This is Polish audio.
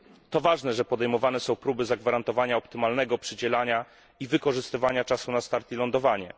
To ważne, że podejmowane są próby zagwarantowania optymalnego przydzielania i wykorzystywania czasu na start i lądowanie.